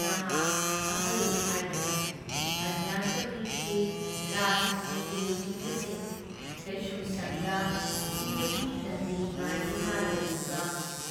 ꯅꯍꯥ ꯑꯍꯜ ꯈꯥꯏꯗꯅ ꯑꯙ꯭ꯌꯥꯟꯇꯃꯤꯛꯀꯤ, ꯔꯥꯖꯅꯤꯇꯤꯒꯤ ꯂꯨꯆꯤꯡꯕꯁꯤꯡ, ꯀꯩꯁꯨꯝꯁꯪꯗ ꯁꯤꯕꯒꯤ ꯗꯟꯗꯤ ꯉꯥꯏꯗꯨꯅ ꯂꯩꯔꯤꯕ